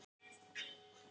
Valgeir Örn: Hvers vegna?